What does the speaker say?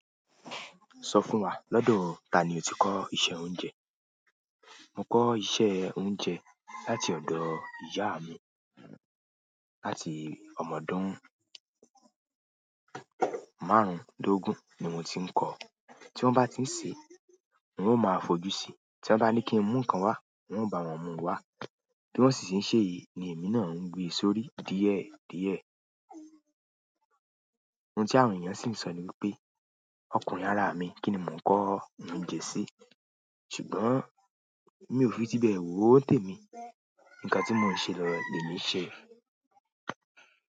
Sọ fún wa lọ́dọ̀ ta ni o ti kọ́ iṣẹ́ oúnjẹ? Mo kọ́ iṣẹ́ oúnjẹ láti ọ̀dọ̀ ìyá mi. Láti ọmọ ọdún márùndógún ni mo ti ń kọ́. Tí wọ́n bá ti ń se, n o máa fojú si. Tí wọ́n bá ní kí n mú nǹkan wá, n o bá wọn mú wá. Bi won si ti n seyi le mi náà gbe sórí díẹ̀ díẹ̀. Ohun tí àwọn èèyàn sì ń sọ ni wípé ọkùnrin ara mi kini mo n ko oúnjẹ si. Ṣùgbọ́n mi ò fi ti bẹ̀e wóò tẹ́mi. Ǹkan tí mò ń ṣe lọ lè mí ṣẹ.